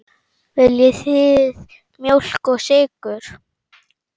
Viljið þið mjólk og sykur?